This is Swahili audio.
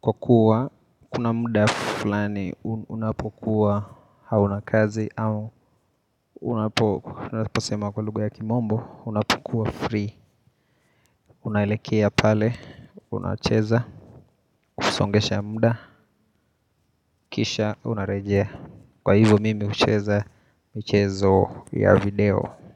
Kwa kuwa, kuna muda fulani unapokuwa hauna kazi au unaposema kwa lugha ya kimombo, unapokuwa free. Unaelekea pale, unacheza, husongesha muda, kisha, unarejea. Kwa hivyo, mimi hucheza, michezo ya video.